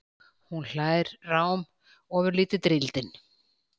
Hún hlær rám, ofurlítið drýldin.